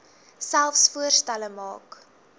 selfs voorstelle maak